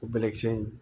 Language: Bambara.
O bɛlɛkisɛ in